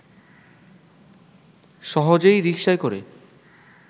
সহজেই রিকশায় করে